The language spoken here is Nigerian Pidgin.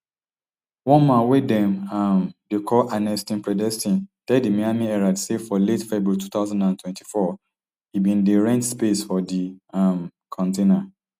one man wey dem um dey call anestin predestin tell di miami herald say for late february two thousand and twenty-four e bin dey rent space for di um container